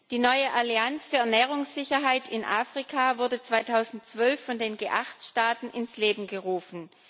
Die neue Allianz für Ernährungssicherheit in Afrika wurde 2012 von den G8 Staaten ins Leben gerufen.